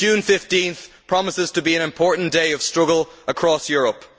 15 June promises to be an important day of struggle across Europe.